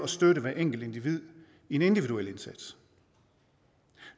støtte hver enkelt i en individuel indsats